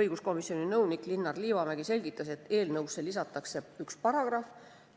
Õiguskomisjoni nõunik Linnar Liivamägi selgitas, et eelnõusse lisatakse üks paragrahv,